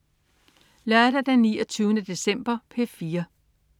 Lørdag den 29. december - P4: